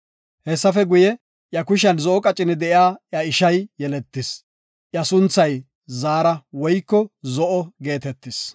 Hessafe guye, iya kushiyan zo7o qacini de7iya iya ishay yeletis. Iya sunthay Zaara (Zo7o) geetetis.